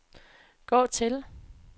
gå til